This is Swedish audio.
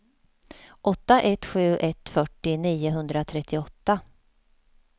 åtta ett sju ett fyrtio niohundratrettioåtta